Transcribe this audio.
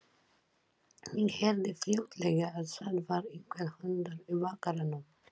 Ég heyrði fljótlega að það var einhver hundur í bakaranum.